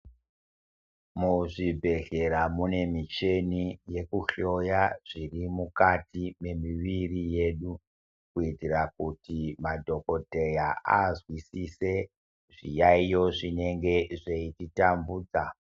Muzvibhedhlera mune mucheni yekuhloya zviri mukati mwemuviri yedu kuitira kuti madhokodheya azwisise zviyaiyo zvinenge zveiti tambudza.